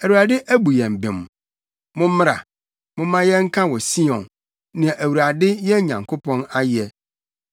“‘ Awurade abu yɛn bem. Mommra, momma yɛnka wɔ Sion, nea Awurade, yɛn Nyankopɔn ayɛ.’